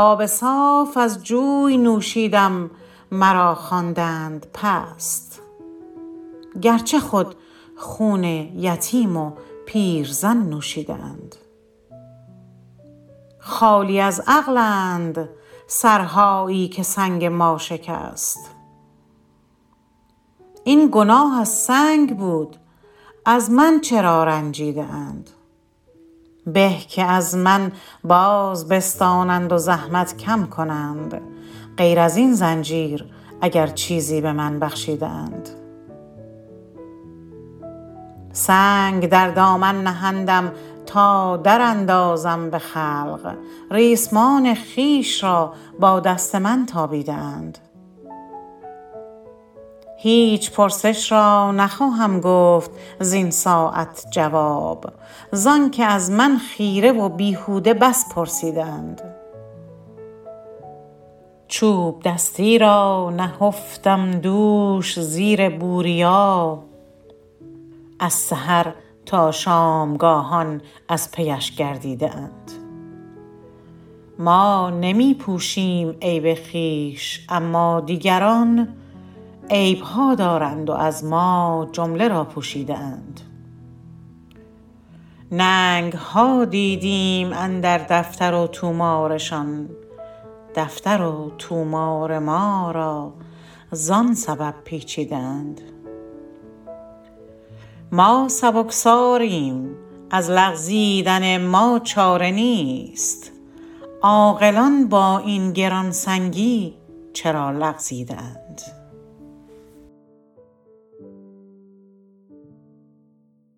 آب صاف از جوی نوشیدم مرا خواندند پست گرچه خود خون یتیم و پیرزن نوشیده اند خالی از عقلند سرهایی که سنگ ما شکست این گناه از سنگ بود از من چرا رنجیده اند به که از من باز بستانند و زحمت کم کنند غیر ازین زنجیر گر چیزی به من بخشیده اند سنگ در دامن نهندم تا در اندازم به خلق ریسمان خویش را با دست من تابیده اند هیچ پرسش را نخواهم گفت زین ساعت جواب زان که از من خیره و بیهوده بس پرسیده اند چوب دستی را نهفتم دوش زیر بوریا از سحر تا شامگاهان از پیش گردیده اند ما نمی پوشیم عیب خویش اما دیگران عیب ها دارند و از ما جمله را پوشیده اند ننگ ها دیدیم اندر دفتر و طومارشان دفتر و طومار ما را زان سبب پیچیده اند ما سبکساریم از لغزیدن ما چاره نیست عاقلان با این گرانسنگی چرا لغزیده اند